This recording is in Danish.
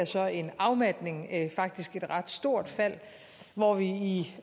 så en afmatning faktisk et ret stort fald hvor vi i